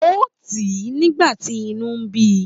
Ó tì í nígbà tí inú bí i